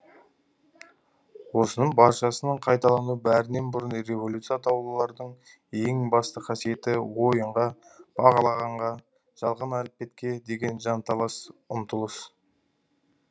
осының баршасының қайталануы бәрінен бұрын революция атаулылардың ең басты қасиеті ойынға бағалағанға жалған әлпетке деген жанталаса ұмтылыс